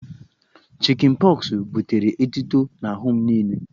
Chịkịn pọxụ butere etuto n'ahụ m niile